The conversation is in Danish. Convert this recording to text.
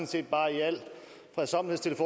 set bare i al fredsommelighed